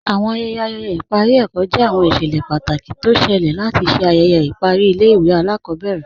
Awọn ayẹyẹ ayẹyẹ ipari ẹkọ jẹ awọn iṣẹlẹ pátákì tó ọ ṣẹ̀lẹ̀ látì ṣè ayẹyẹ ipari ilẹ̀-ìwé alakọbẹrẹ.